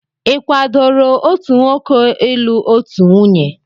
Ị kwadoro otu nwoke ịlụ otu nwunye?